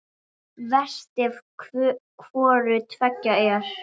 Verst ef hvoru tveggja er.